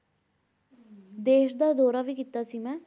ਦੇਸ ਦਾ ਦੌਰਾ ਵੀ ਕੀਤਾ ਸੀ ਮੈਂ,